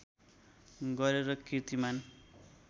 गरेर किर्तिमान